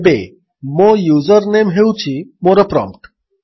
ଏବେ ମୋ user name ହେଉଛି ମୋର ପ୍ରମ୍ପ୍ଟ୍